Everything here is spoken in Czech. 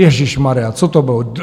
Ježíšmarjá, co to bylo?